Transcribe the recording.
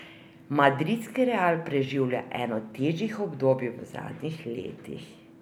Madridski Real preživlja eno težjih obdobij v zadnjih letih.